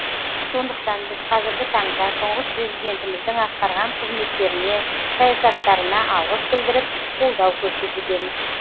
сондықтан біз қазіргі таңда тұңғыш президентіміздің атқарған қызметтеріне саясаттарына алғыс білдіріп қолдау көрсетудеміз